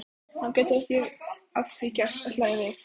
Hann getur ekki að því gert að hlæja við.